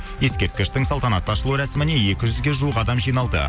ескерткіштің салтанатты ашылу рәсіміне екі жүзге жуық адам жиналды